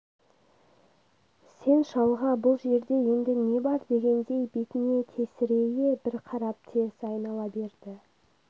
сен шалға бұл жерде енді не бар дегендей бетіне тесірейе бір қарап теріс айнала берді